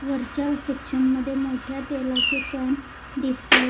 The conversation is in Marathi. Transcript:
वरच्या सेक्शन मध्ये मोठ्या तेलाचे कॅन दिसत आहेत.